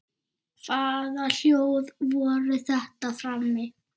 Hvaða hljóð voru þetta frammi?